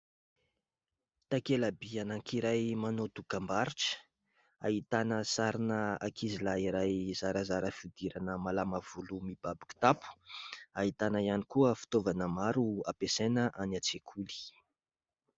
Takela-by anankiray manao dokam-barotra, ahitana sarina ankizy lahy iray zarazara fihodirana, malama volo, mibaby kitapo ; ahitana ihany koa fitaovana maro ampiasaina any an-tsekoly.